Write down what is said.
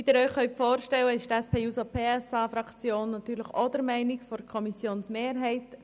Wie Sie sich vorstellen können, ist die SP-JUSO-PSA-Fraktion auch der Meinung der Kommissionsmehrheit.